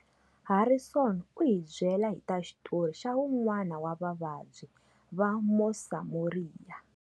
Harrison u hi byela hi ta xitori xa wun'wana wa vavabyi va Mosamoria.